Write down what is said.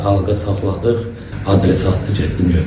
Xanqa saxladıq, adresi atdı getdim götürdüm.